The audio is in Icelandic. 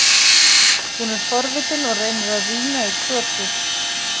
Hún er forvitin og reynir að rýna í krotið.